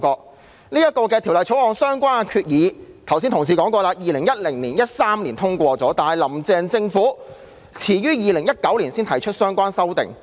剛才有議員提過，《條例草案》相關的決議在2010年、2013年已獲通過，但"林鄭"政府到2019年才提出相關修訂。